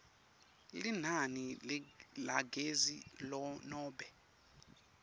linani lagezi nobe